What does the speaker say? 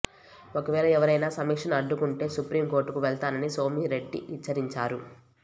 ఒకవేళ ఎవరైనా సమీక్షను అడ్డుకుంటే సుప్రీం కోర్టుకు వెళ్తానని సోమిరెడ్డి హెచ్చరించారు